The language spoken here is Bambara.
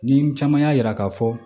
Nin caman y'a yira k'a fɔ